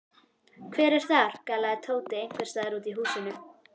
Hver er þar? galaði Tóti einhvers staðar úr húsinu.